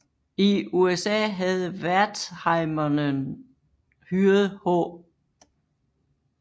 I USA havde Wertheimerne hyret H